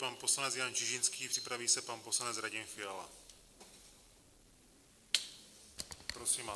Pan poslanec Jan Čižinský, připraví se pan poslanec Radim Fiala.